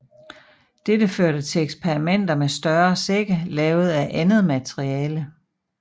Dette førte til eksperimenter med større sække lavet af andet materiale